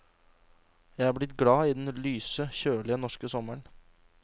Jeg er blitt glad i den lyse, kjølige norske sommeren.